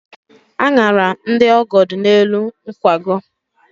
Añara ndị ọgọ dị n'elu nkwago.